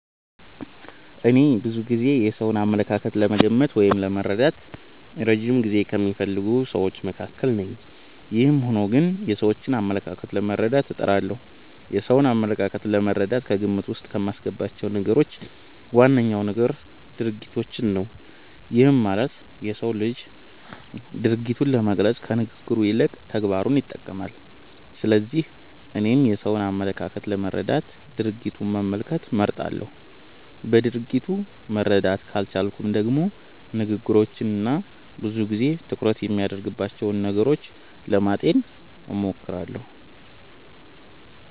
እኔ ብዙ ጊዜ የሰውን አመለካከት ለመገመት ወይም ለመረዳት እረጅም ጊዜ ከሚፈልጉ ስዎች መካከል ነኝ። ይህም ሆኖ ግን የሰዎችን አመለካከት ለመረዳት እጥራለሁ። የሰውን አመለካከት ለመረዳት ከግምት ዉስጥ ከማስገባቸው ነገሮች ዋነኛው ነገር ድርጊቶችን ነው። ይህም ማለት የሰው ልጅ ማንነቱን ለመግለፅ ከንግግሩ ይልቅ ተግባሩን ይጠቀማል። ስለዚህ እኔም የሰውን አመለካከት ለመረዳት ድርጊቱን መመልከት እመርጣለሁ። በድርጊቱ መረዳት ካልቻልኩም ደግሞ ንግግሮቹን እና ብዙ ጊዜ ትኩረት የሚያደርግባቸውን ነገሮች ለማጤን እሞክራለሁ።